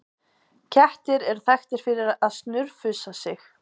Kettir eru þekktir fyrir að snurfusa sig.